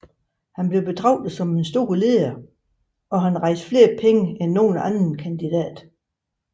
Han blev betraget som en stor leder og han rejste flere penge end nogen anden kandidat